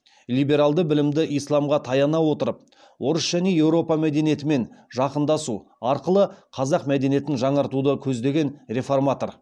либералды білімді исламға таяна отырып орыс және еуропа мәдениетімен жақындасу арқылы қазақ мәдениетін жаңартуды көздеген реформатор